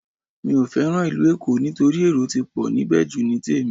Mi ò fẹ́ràn ìlú Èkó nítorí èrò ti pọ̀ níbẹ̀ jù ní tèmi